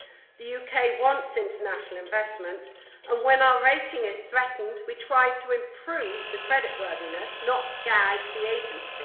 The UK wants international investment, and when our rating is threatened, we try to improve the credit worthiness, not gag the agency.